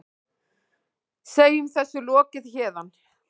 Segjum þessu lokið héðan.